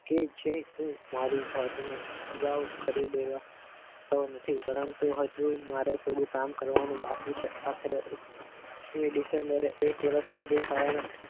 કે જે હું મારી જાતને અગાઉ કરી દેવા તો નથી પરંતુ હજુ મારે થોડું કામ કરવાનું બાકી છે આખરે સોળ મી ડિસેમ્બરે એક વર્ષ પૂરું થયા ના